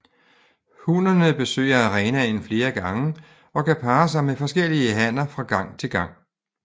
Hunnerne besøger arenaen flere gange og kan parre sig med forskellige hanner fra gang til gang